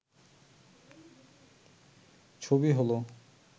ছবি হল